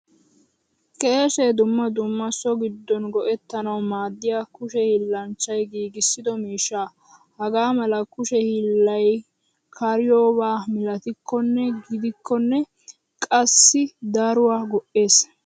Keeshe dumma dumna so giddon go'ettanawu maadiyaa kushe hilanchchay giigisido miishshaa. Hagamala kushe hilay kariyoba milatikkone gidikone qassi daruwaa go'ees.